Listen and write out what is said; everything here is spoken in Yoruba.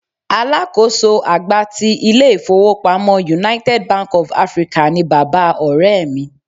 Alákòóso àgbà ti ilé-ifowopamo United Bank of Africa ni bàbá Ọ̀rẹ́ mi.